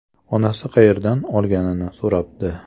Onasi qayerdan olganini so‘rabdi.